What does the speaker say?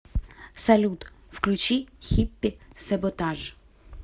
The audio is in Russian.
салют включи хиппи саботаж